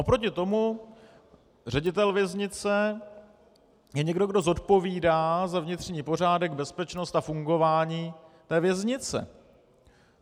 Oproti tomu ředitel věznice je někdo, kdo zodpovídá za vnitřní pořádek, bezpečnost a fungování té věznice.